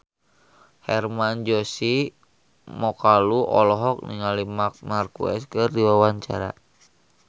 Hermann Josis Mokalu olohok ningali Marc Marquez keur diwawancara